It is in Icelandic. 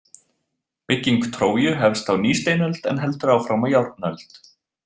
Bygging Tróju hefst á nýsteinöld en heldur áfram á járnöld.